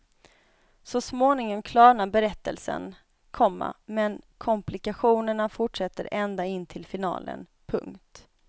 Så småningom klarnar berättelsen, komma men komplikationerna fortsätter ända in till finalen. punkt